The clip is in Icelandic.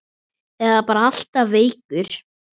Eða bara alltaf veikur.